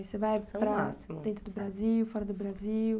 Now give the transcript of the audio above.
Você vai dentro do Brasil, fora do Brasil?